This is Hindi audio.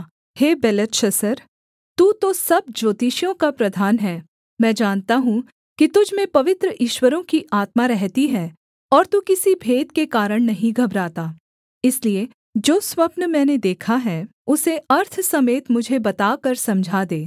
हे बेलतशस्सर तू तो सब ज्योतिषियों का प्रधान है मैं जानता हूँ कि तुझ में पवित्र ईश्वरों की आत्मा रहती है और तू किसी भेद के कारण नहीं घबराता इसलिए जो स्वप्न मैंने देखा है उसे अर्थ समेत मुझे बताकर समझा दे